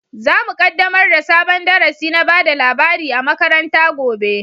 Zamu kaddamar da sabon darasi na bada labari a makaranta gobe